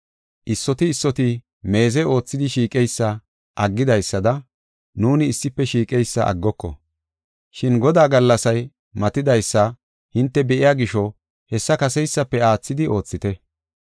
Issoti issoti meeze oothidi shiiqeysa aggidaysada nuuni issife shiiqeysa aggoko. Shin Godaa gallasay matatidaysa hinte be7iya gisho hessa kaseysafe aathidi oothite.